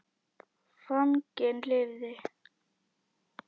Fanginn lifði.